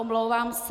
Omlouvám se.